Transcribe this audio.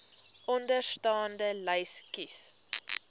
onderstaande lys kies